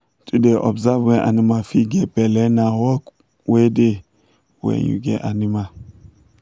to da observe when animal fit get belle na work wey da when you get animal